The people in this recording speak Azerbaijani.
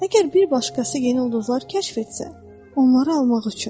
Əgər bir başqası yeni ulduzlar kəşf etsə, onları almaq üçün.